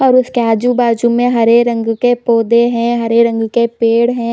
और उसके आजु-बाजु में हरे रंग के पौधे है हरे रंग के पेड़ है।